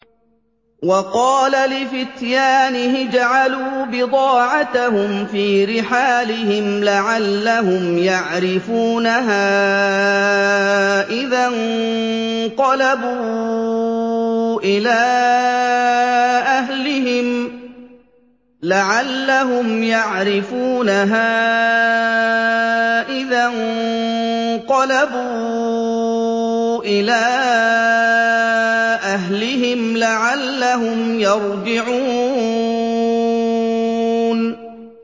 وَقَالَ لِفِتْيَانِهِ اجْعَلُوا بِضَاعَتَهُمْ فِي رِحَالِهِمْ لَعَلَّهُمْ يَعْرِفُونَهَا إِذَا انقَلَبُوا إِلَىٰ أَهْلِهِمْ لَعَلَّهُمْ يَرْجِعُونَ